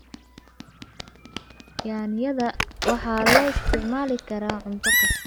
Yaanyada waxaa loo isticmaali karaa cunto kasta.